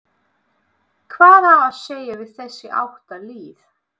Hvað á að segja við þessi átta lið?